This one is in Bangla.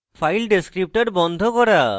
file descriptor বন্ধ করা